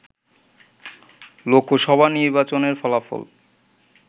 লোকসভা নির্বাচনের ফলাফল